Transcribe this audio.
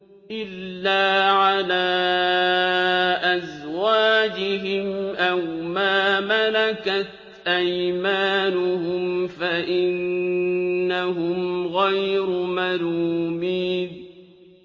إِلَّا عَلَىٰ أَزْوَاجِهِمْ أَوْ مَا مَلَكَتْ أَيْمَانُهُمْ فَإِنَّهُمْ غَيْرُ مَلُومِينَ